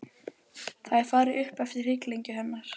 Það er farið upp eftir hrygglengju hennar.